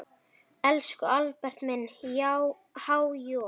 Elsku Albert minn, há joð.